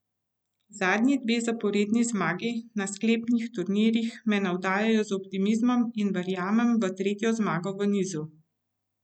Zadnji dve zaporedni zmagi na sklepnih turnirjih me navdajajo z optimizmom in verjamem v tretjo zmago v nizu.